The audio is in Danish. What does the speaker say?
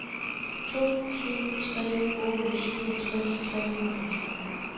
to syv tre otte syvogtres tre hundrede og tyve